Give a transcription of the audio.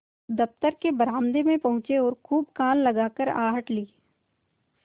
दफ्तर के बरामदे में पहुँचे और खूब कान लगाकर आहट ली